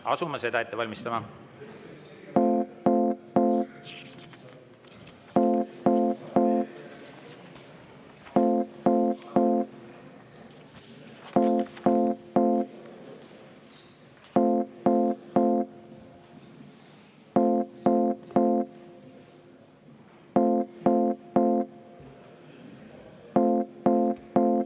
Asume seda ette valmistama.